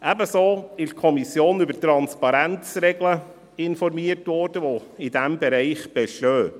Ebenso wurde in der Kommission über Transparenzregeln informiert, die in diesem Bereich bestehen.